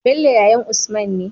Bello yayan usman ne